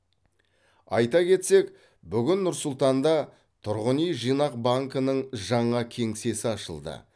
айта кетсек бүгін нұр сұлтанда тұрғын үй жинақ банкінің жаңа кеңсесі ашылды